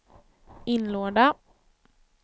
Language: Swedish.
inlåda